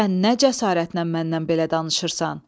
Sən nə cəsarətlə məndən belə danışırsan?